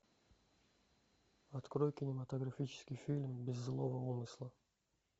открой кинематографический фильм без злого умысла